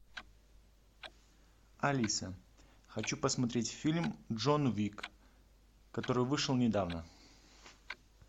алиса хочу посмотреть фильм джон уик который вышел недавно